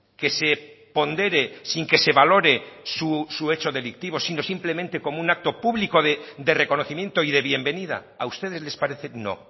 que se pondere sin que se valore su hecho delictivo sino simplemente como un acto público de reconocimiento y de bienvenida a ustedes les parece no